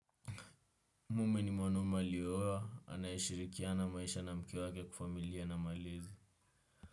Mimi ni mwanueme aliyeoa, anayeshirikiana maisha na mke wake kifamilia na malezi.